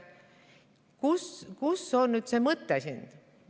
Kus see mõte siin nüüd on?